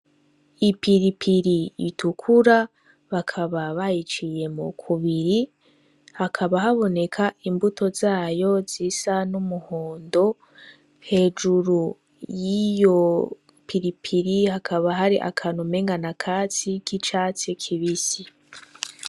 Ipiripiri itukura, bakaba bayiciyemwo kubiri hakaba haboneka imbuto zayo zisa n'umuhondo; hejuru yiyo piripiri hakaba hari akantu umengo n'akatsi c'icatsi kibisi.